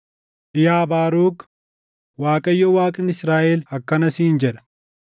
“Yaa Baaruk, Waaqayyo Waaqni Israaʼel akkana siin jedha: